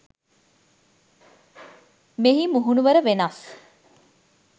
මෙහි මුහුණුවර වෙනස්